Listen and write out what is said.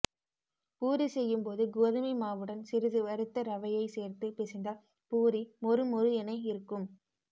பூரி செய்யும் போது கோதுமைமாவுடன் சிறிது வறுத்த ரவையை சேர்த்து பிசைந்தால் பூரி மொறு மொறு என இருக்கும்